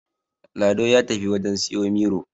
Lado ya tafi wajen siyo Miro